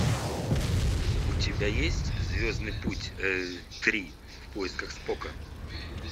у тебя есть звездный путь три в поисках спока